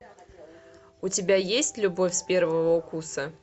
у тебя есть любовь с первого укуса